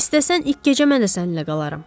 İstəsən ilk gecə mən də səninlə qalaram.